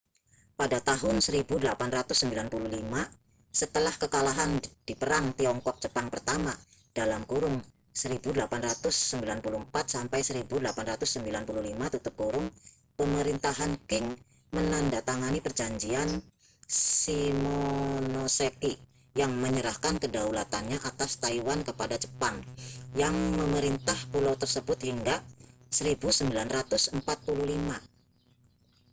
pada tahun 1895 setelah kekalahan di perang tiongkok-jepang pertama 1894-1895 pemerintahan qing menandatangani perjanjian shimonoseki yang menyerahkan kedaulatannya atas taiwan kepada jepang yang memerintah pulau tersebut hingga 1945